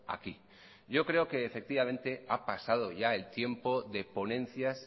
aquí yo creo que efectivamente ha pasado ya el tiempo de ponencias